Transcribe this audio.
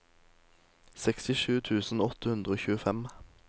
sekstisju tusen åtte hundre og tjuefem